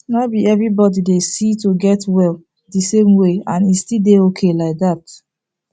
nor be everybody dey see to get well the same way and e still dey okay like that